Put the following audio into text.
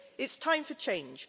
It's time for change.